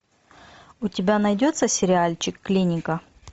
у тебя найдется сериальчик клиника